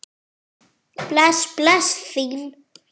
Bless bless, þín